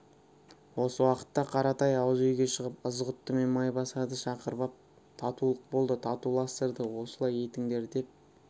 осы уақытта қаратай ауызүйге шығып ызғұтты мен майбасарды шақырып ап татулық болды татуластырды осылай етіңдер деп